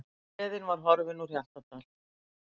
Gleðin var horfin úr Hjaltadal.